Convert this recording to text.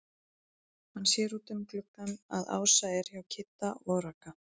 Hann sér út um gluggann að Ása er hjá Kidda og Ragga.